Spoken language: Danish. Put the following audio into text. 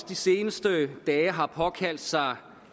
de seneste dage har påkaldt sig